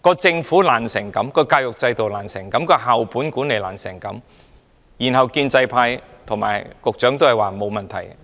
政府這麼不濟，教育制度這麼不濟，校本管理這麼不濟，建制派和局長卻都表示沒有問題。